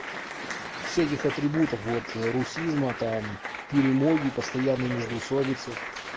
все этих атрибутов вот русизма там перемоги постоянные междоусобицы